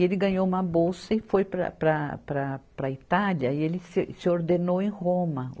E ele ganhou uma bolsa e foi para, para, para, para a Itália e se, se ordenou em Roma.